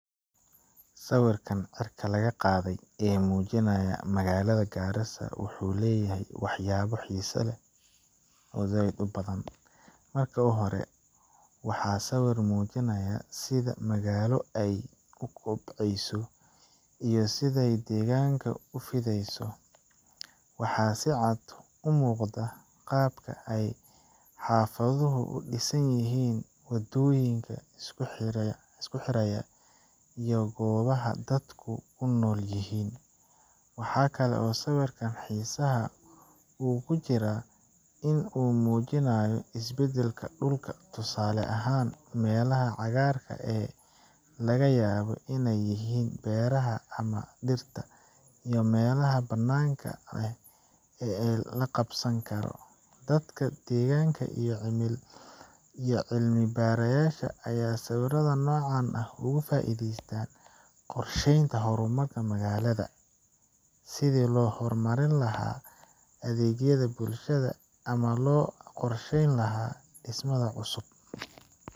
Sawirkan cirka laga qaaday ee muujinaya magaalada Garissa wuxuu leeyahay waxyaabo xiiso leh oo badan. Marka hore, waa sawir muujinaya sida magaalo ay u kobcayso iyo sida ay deegaanka u fidaysay. Waxaa si cad u muuqda qaabka ay xaafaduhu u dhisan yihiin, waddooyinka isku xiraya, iyo goobaha dadku ku nool yihiin. Waxa kale oo sawirkan xiisihiisa uu ku jiraa in uu muujinayo isbeddelka dhulka tusaale ahaan, meelaha cagaaran ee laga yaabo in ay yihiin beeraha ama dhirta, iyo meelaha bannaan ee la qabsan karo. Dadka deegaanka iyo cilmi baarayaasha ayaa sawirrada noocan ah uga faa’iideysta qorsheynta horumarka magaalada, sidii loo horumarin lahaa adeegyada bulshada, ama loo qorsheyn lahaa dhismaha cusub.